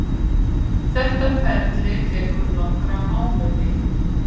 Þetta ferli tekur nokkra mánuði.